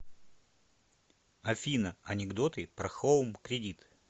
афина анекдоты про хоум кредит